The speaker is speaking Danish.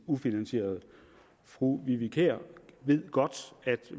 ufinansierede fru vivi kier ved godt at